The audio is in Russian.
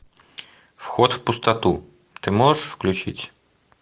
вход в пустоту ты можешь включить